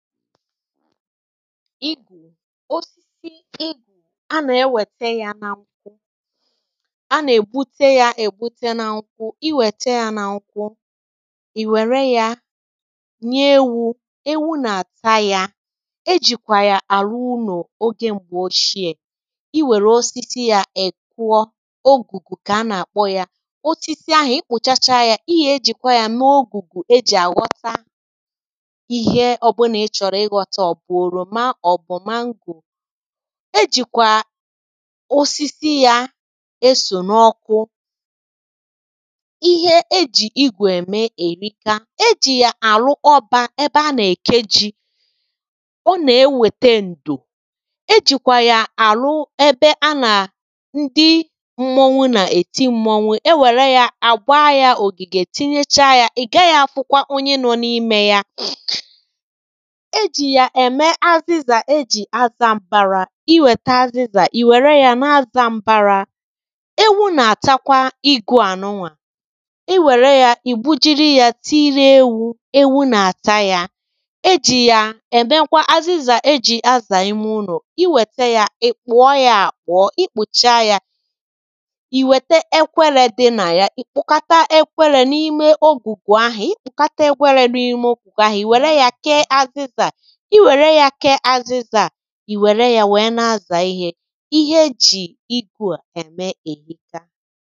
igù osisi igù a na-ewète ya n’ọnwụ a nà-ègbute ya ègbute n’ọnwụ i wète ya n’ọnwụ ì wère ya nye ewu̇ ewu nà-àta ya ejìkwà ya àrụ ulọ̀ ogė m̀gbè oshie i wère osisi ya èkwọ ogùgù kà a nà-àkpọ ya osisi ahụ̀ ikpụ̀chacha ya ihe ejìkwà ya n’ogùgù e jì àghọta màchọ̀rọ̀ ịghọta ọ̀ bụ̀ oròma ọ̀bụ̀ mango e jìkwà osisi ya e sò n’ọkụ ihe e jì igwèmè èrịka e jì ya àrụ ọbȧ ebe a nà-èkeji ọ nà e wète ǹdò e jìkwà ya àrụ ebe a nà ndị mmụ̇nwu nà-èti mmụ̇nwu e wère ya àgba ya ògìgè etinyecha ya ị̀ gaghị̇ afụkwa onye nọ n’imė ya eèjì ya ème azịzà e jì azȧ m̀bara i wète azịzà ì wère ya n’azȧ m̀bara ewu nà-àchakwa igu̇ànụnwà i wère ya i bujiri ya tiiri ewu ewu nà-àcha ya ejì ya èbe nkwa azịzà ejì azà ime ụnụ i wète ya i kpùọ ya à kpòọ i kpùchaa ya ì wète ekwere dị nà ya ị̀ kpòkata ekwere n’ime ogùgù ahị̀ ị̀ kpòkata ekwere n’ime ogùgù ahị̀ i wère ya kee azịzà ị wère ya wee ya kè azịza ị wère ya wee na-aza ihe ihe e ji igwe eme erika